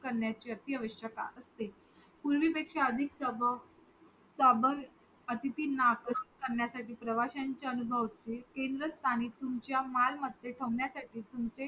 करण्याची अति आवश्यकता असते पूर्वी पेक्षा अधिक अतिथींना आपण त्यांचा त्यांना प्रवाशांच्या अनुभव केंद्र स्थानी तुमच्या मालमत्ता ठेवण्यासाठी तुम्हचे